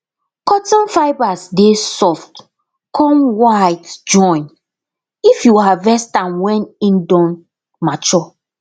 cotton fibres dey soft con white join if you harvest am wen im don mature